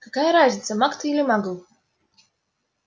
какая разница маг ты или магл